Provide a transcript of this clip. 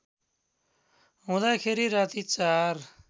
हुँदाखेरि राति ४